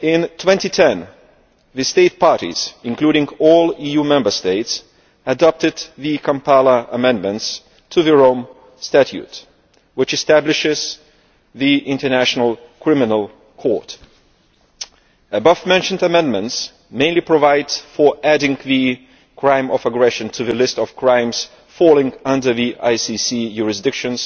In 2010 the states parties, including all EU Member States, adopted the Kampala amendments to the Rome Statute which establishes the International Criminal Court. The above mentioned amendments mainly provide for adding the crime of aggression to the list of crimes falling under ICC jurisdiction,